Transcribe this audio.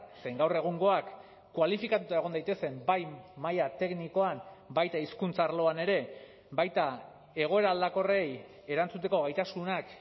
zein gaur egungoak kualifikatua egon daitezen bai maila teknikoan baita hizkuntza arloan ere baita egoera aldakorrei erantzuteko gaitasunak